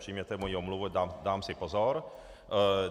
Přijměte moji omluvu, dám si pozor.